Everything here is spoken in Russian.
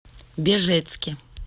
бежецке